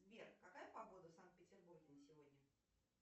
сбер какая погода в санкт петербурге на сегодня